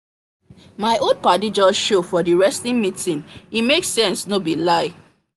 my old paddi just show for the wresting meet e make sense no be lie